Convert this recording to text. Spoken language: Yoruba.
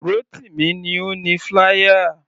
Rotimi ni ó ni flier.